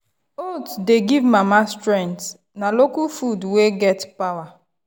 oats dey give mama strength na local food wey get power.